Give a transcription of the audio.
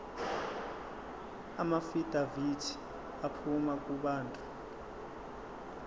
amaafidavithi aphuma kubantu